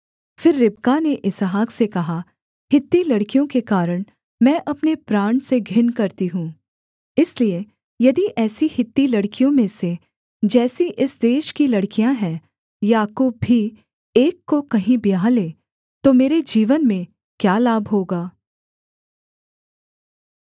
फिर रिबका ने इसहाक से कहा हित्ती लड़कियों के कारण मैं अपने प्राण से घिन करती हूँ इसलिए यदि ऐसी हित्ती लड़कियों में से जैसी इस देश की लड़कियाँ हैं याकूब भी एक को कहीं ब्याह ले तो मेरे जीवन में क्या लाभ होगा